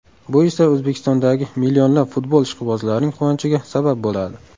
Bu esa O‘zbekistondagi millionlab futbol ishqibozlarining quvonchiga sabab bo‘ladi.